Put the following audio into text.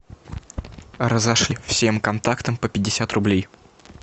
разошли всем контактам по пятьдесят рублей